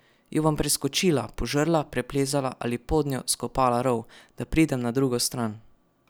Jo bom preskočila, požrla, preplezala ali podnjo skopala rov, da pridem na drugo stran?